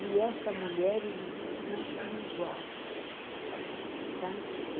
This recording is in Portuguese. E essa mulher, ele diz que não tinha igual, sabe?